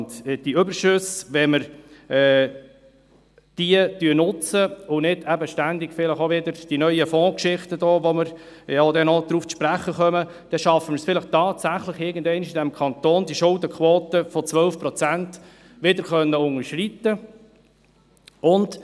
Wenn wir diese Überschüsse nutzen und es nicht ständig diese neuen Fondsgeschichten gibt, auf die wir vielleicht noch zu sprechen kommen, dann schaffen wir es vielleicht tatsächlich irgendeinmal, in diesem Kanton die Schuldenquote von 12 Prozent wieder zu unterschreiten.